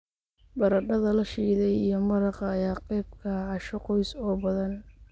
Baradhada la shiiday iyo maraqa ayaa qayb ka ah casho qoys oo badan.